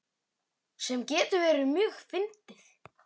Sem getur verið mjög fyndið.